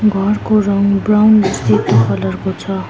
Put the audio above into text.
घरको रङ ब्राउन र सेतो कलर को छ।